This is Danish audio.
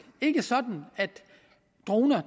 ikke sådan at droner